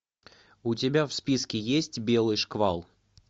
у тебя в списке есть белый шквал